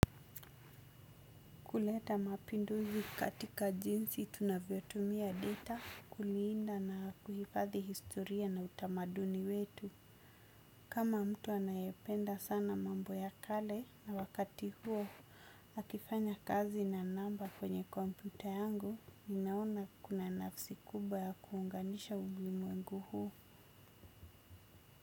Kuleta mapinduzi katika jinsi tunavyotumia data, kulinda na kuhifadhi historia na utamaduni wetu. Kama mtu anayependa sana mambo ya kale na wakati huo, akifanya kazi na namba kwenye kompyuta yangu, ninaona kuna nafsi kubwa ya kuunganisha ulimwengu huu.